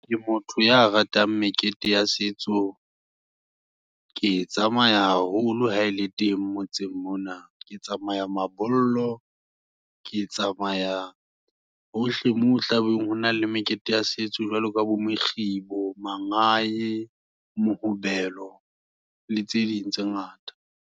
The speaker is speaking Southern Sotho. Ke motho ya ratang mekete ya setso. Ke e tsamaya haholo ha ele teng motseng mona, ke tsamaya mabollo, ke tsamaya hohle moo, hotlabe hona le mekete ya setso, jwalo ka bo mokgibo, manganyi, mohobelo le tse ding tse ngata.